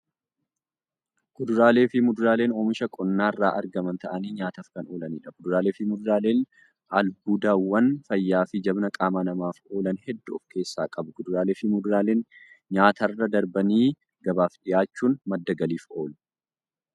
Kuduraaleefi muduraaleen oomisha qonnarraa argaman ta'anii nyaataaf kan oolaniidha. Kuduraaleefi muduraaleen albuudawwan fayyaafi jabina qama namaaf oolan hedduu of keessaa qabu. Kuduraaleefi muduraaleen nyaatarra darbanii gabaaf dhiyaachuun madda galiif oolu.